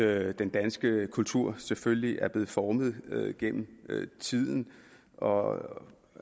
at den danske kultur selvfølgelig er blevet formet gennem tiden og